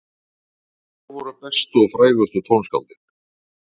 Og hver voru bestu og frægustu tónskáldin?